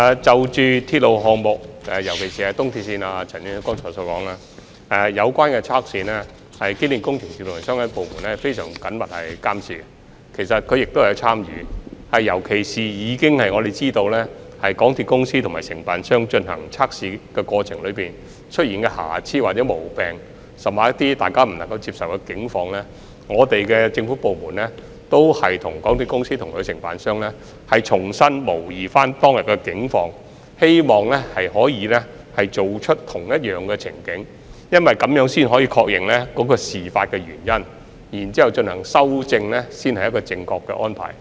就着鐵路項目，尤其是東鐵綫，正如陳議員剛才所說，有關的測試受到機電署和相關部門非常緊密的監察，並且也有參與，尤其是我們知道就港鐵公司和承辦商進行測試的過程中，出現的瑕疵或毛病甚或一些大家不能接受的情況，政府部門也會與港鐵公司及其承辦商重新模擬當天的情況，希望可以重構相同情景，因為這樣才可以確認事發原因並進行修正，這才是正確的安排。